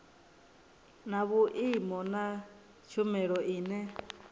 na vhui na tshumelo ine